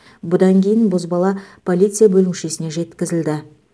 бұдан кейін бозбала полиция бөлімшесіне жеткізілді